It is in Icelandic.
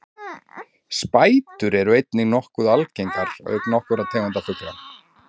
spætur eru einnig nokkuð algengar auk nokkurra tegunda ugla